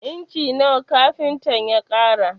Inci nawa kafintan ya ƙara?